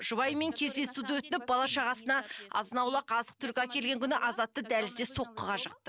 жұбайымен кездесуді өтініп бала шағасына азын аулақ азық түлік әкелген күні азатты дәлізде соққыға жықты